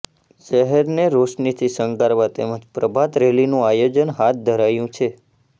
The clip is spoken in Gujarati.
શહેરને રોશનીથી શણગારવા તેમજ પ્રભાત રેલીનું આયોજન હાથ ધરાયું છે